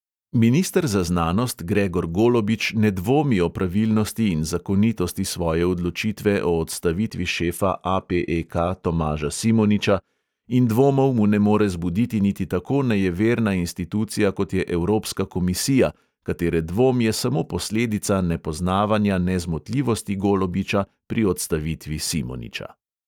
Minister za znanost gregor golobič ne dvomi o pravilnosti in zakonitosti svoje odločitve o odstavitvi šefa APEK tomaža simoniča in dvomov mu ne more zbuditi niti tako nejeverna institucija, kot je evropska komisija, katere dvom je samo posledica nepoznavanja nezmotljivosti golobiča pri odstavitvi simoniča.